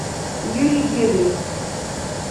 юрий гедрих